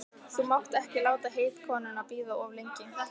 Þú mátt ekki láta heitkonuna bíða of lengi.